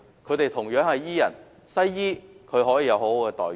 他們同樣是醫人，但西醫卻有良好待遇。